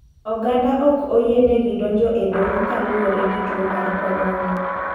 Oganda ok oyiene gi donjo e doho kaluwore gi tuo mar korona.